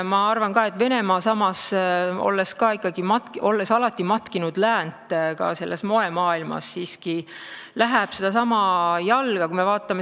Ma arvan samas, et Venemaa, olles alati matkinud läänt ka moemaailmas, hakkab siiski astuma sedasama jalga.